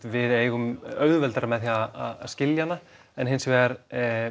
við eigum auðveldara með að skilja hana en hins vegar